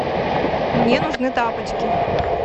мне нужны тапочки